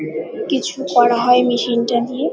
কিছু করা হয় মেশিন টা দিয়ে।